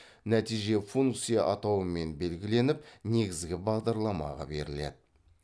нәтиже функция атауымен белгіленіп негізгі бағдарламаға беріледі